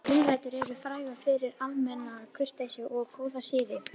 Gulrætur eru frægar fyrir almenna kurteisi og góða siði.